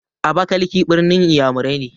Abakalaki ɓirnin iyamurai ne.